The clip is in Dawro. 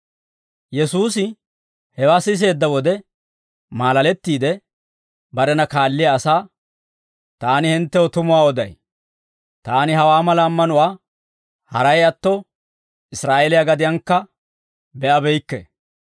Yesuusi hewaa siseedda wode maalalettiide, barena kaalliyaa asaa, «Taani hinttew tumuwaa oday; taani hawaa mala ammanuwaa haray atto, Israa'eeliyaa gadiyankka be'abeykke.